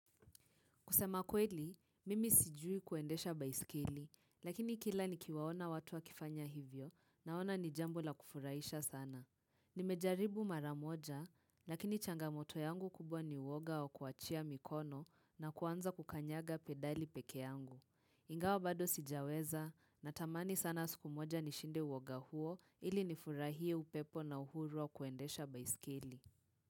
Kusema kweli, mimi sijui kuendesha baiskeli, lakini kila nikiwaona watu wakifanya hivyo naona ni jambo la kufurahisha sana. Nimejaribu mara moja, lakini changamoto yangu kubwa ni woga wa kuachia mikono na kuanza kukanyaga pedali peke yangu. Ingawa bado sijaweza, natamani sana siku moja nishinde woga huo ili nifurahie upepo na uhuru wa kuendesha baiskeli.